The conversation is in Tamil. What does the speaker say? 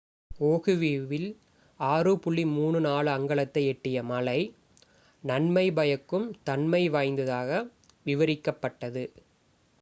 "ஓஹுவில் 6.34 அங்குலத்தை எட்டிய மழை "நன்மை பயக்கும் தன்மை வாய்ந்ததாக" விவரிக்கப்பட்டது.